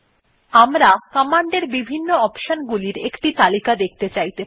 আমরা কমান্ডের বিভিন্ন অপশন গুলি একটি তালিকা দেখতে চাইতে পারি